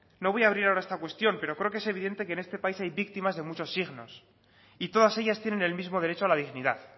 no voy a abrir ahora esta cuestión pero creo que es evidente que en este país hay víctimas de muchos signos y todas ellas tienen el mismo derecho a la dignidad